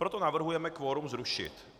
Proto navrhujeme kvorum zrušit.